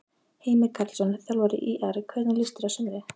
Heimir Karlsson, þjálfari ÍR Hvernig líst þér á sumarið?